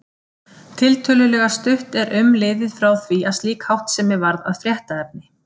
Tiltölulega stutt er um liðið frá því að slík háttsemi varð að fréttaefni.